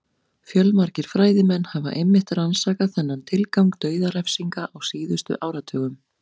Fjölmargir fræðimenn hafa einmitt rannsakað þennan tilgang dauðarefsinga á síðustu áratugum.